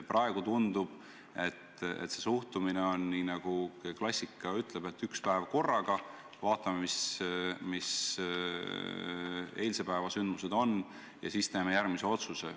Praegu tundub, et suhtumine on nii, nagu klassika ütleb: võtame üks päev korraga, vaatame, mis eilse päeva sündmused on, ja siis teeme järgmise otsuse.